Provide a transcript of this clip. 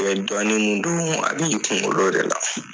dɔnnin min don a b'i kunkolo de la.